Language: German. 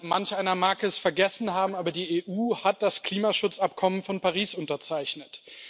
Manch einer mag es vergessen haben, aber die EU hat das Klimaschutzübereinkommen von Paris unterzeichnet.